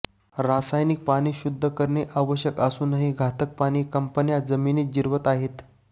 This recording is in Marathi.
रासायनिक पाणी शुध्द करणे आवश्यक असूनही घातक पाणी कंपन्या जमिनीत जिरवत आहेत